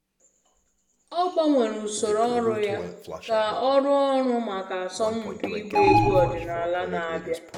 Ọ gbanwere usoro ọrụ ya ka ọ rụọ ọrụ maka asọmpi ịgba egwu omenala na-abịa